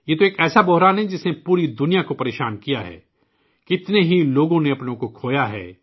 یہ تو ایک ایسا بحران ہے جس نے پوری دنیا کو پریشان کیا ہے، کتنے ہی لوگوں نے اپنوں کو کھویا ہے